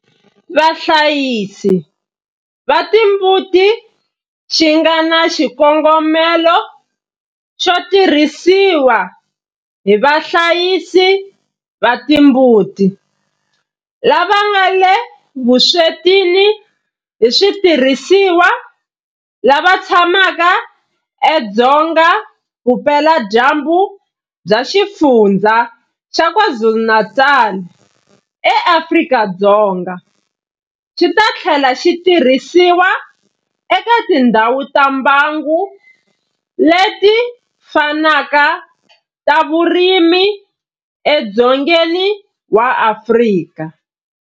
Vahlayisi va timbuti xi nga na xikongomelo xo tirhisiwa hi vahlayisi va timbuti lava nga le vuswetini hi switirhisiwa lava tshamaka edzonga vupeladyambu bya Xifundzha xa KwaZulu-Natal eAfrika-Dzonga, xi ta tlhela xi tirhisiwa eka tindhawu ta mbango leti fanaka ta vurimi edzongeni wa Afrika.